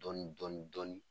Dɔɔni dɔɔni dɔɔni.